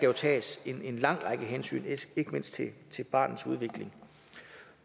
jo tages en lang række hensyn ikke mindst til barnets udvikling